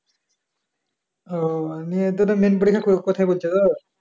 ও মানে তোদের মেন পরীক্ষা কোথায় পরছে তোর?